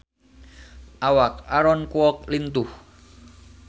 Awak Aaron Kwok lintuh